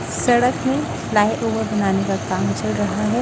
सड़क में फ्लाई_ओवर बनाने का काम चल रहा है।